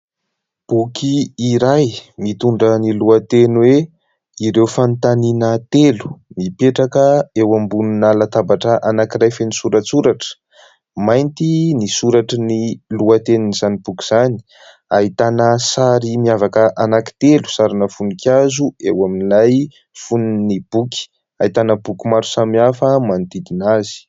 Boky iray mitondra ny lohateny hoe : "Ireo fanontaniana telo" mipetraka eo ambonina latabatra anankiray feno soratsoratra ; mainty ny soratran'ny lohatenin'izany boky izany ; ahitana sary miavaka anankitelo sarina voninkazo eo amin'ilay fonon'ny boky ; ahitana boky maro samihafa manodidina azy.